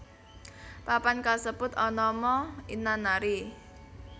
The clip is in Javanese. Papan kasebut anama Inanari